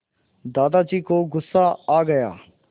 दादाजी को गुस्सा आ गया